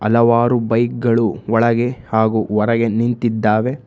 ಹಲವಾರು ಬೈಕ್ ಗಳು ಒಳಗೆ ಹಾಗು ಹೊರಗೆ ನಿಂತಿದ್ದಾವೆ.